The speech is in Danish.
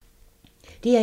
DR1